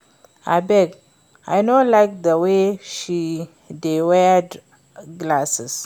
Abeg I no like the way she dey wear glasses